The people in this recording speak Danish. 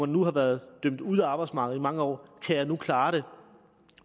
nu har været dømt ude af arbejdsmarkedet i mange år kan jeg nu klare det